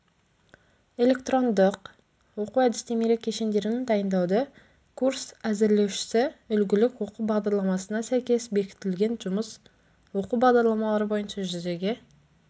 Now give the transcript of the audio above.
электрондық оқу-әдістемелік кешендерін дайындауды курс әзірлеушісі үлгілік оқу бағдарламасына сәйкес бекітілген жұмыс оқу бағдарламалары бойынша жүзеге